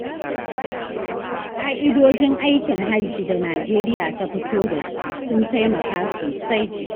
Ƙa'idojin aikin Hajji da Nijeriya ta fito da su, sun taimaka sosai.